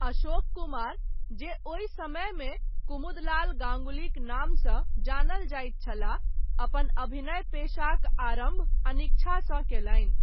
अशोक कुमार, जे ओहि समयमे कुमुदलाल गाङ्गुलीक नामसँ जानल जाइत छलाह, अपन अभिनय पेशाक आरम्भ अनिच्छासँ कयलनि।